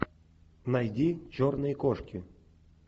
найди черные кошки